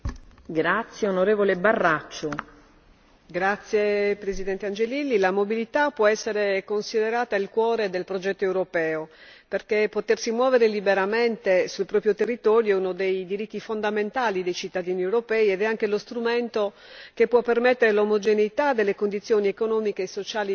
Signora Presidente, la mobilità può essere considerata il cuore del progetto europeo, perché potersi muovere liberamente sul proprio territorio è uno dei diritti fondamentali dei cittadini europei ed è anche lo strumento che può permettere l'omogeneità delle condizioni economiche e sociali dei cittadini.